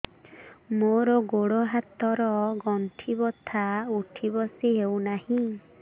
ମୋର ଗୋଡ଼ ହାତ ର ଗଣ୍ଠି ବଥା ଉଠି ବସି ହେଉନାହିଁ